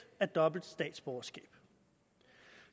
af dobbelt statsborgerskab